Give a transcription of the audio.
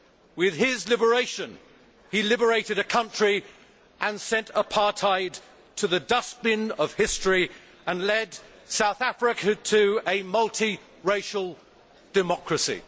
With his liberation, he liberated a country, sent apartheid to the dustbin of history and led South Africa to a multiracial democracy.